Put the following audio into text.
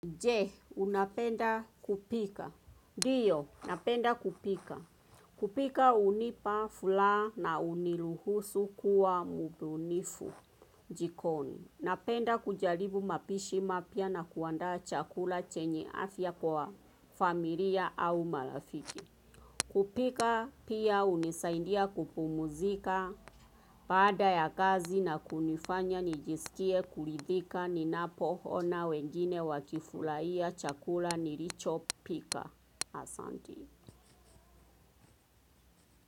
Je, unapenda kupika? Diyo, napenda kupika. Kupika hunipa fulaha na uniluhusu kuwa mubunifu jikoni. Napenda kujaribu mapishi mapya na kuandaa chakula chenye afya kwa familia au marafiki. Kupika pia hunisaidia kupumuzika. Baada ya kazi na kunifanya nijisikie kuridhika ninapoona wengine wakifurahia chakula nilicho pika asanti.